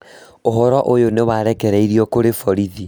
ũhoro ũyũ nĩ warekereirio kũrĩ borithi